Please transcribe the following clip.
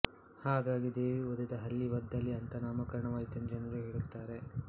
ಹಾಗಾಗಿ ದೇವಿ ಒದೆದ ಹಳ್ಳಿ ವದ್ದಳ್ಳಿ ಅಂತ ನಾಮಕರಣವಾಯಿತೆಂದು ಜನರು ಹೇಳುತ್ತಾರೆ